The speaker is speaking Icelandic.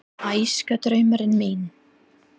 Æskudraumurinn minn?